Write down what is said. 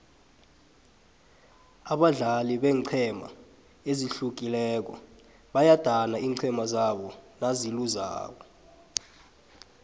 abadlali beenqhema ezihlukileko bayadana iinqhema zabo nazilobako